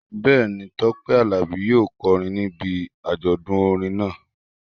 Bẹ́ẹ̀ ni, Tọ́pẹ́ Àlàbí yóò kọrin níbi àjọdún orin náà